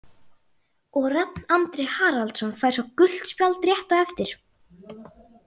Og Rafn Andri Haraldsson fær svo gult spjald rétt á eftir.